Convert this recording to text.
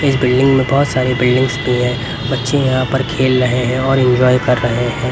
इस बिल्डिंग में बहोत सारे बिल्डिंग्स भी है बच्चे यहां पर खेल रहे हैं और इंजॉय कर रहे हैं।